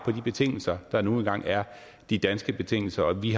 på de betingelser der nu engang er de danske betingelser vi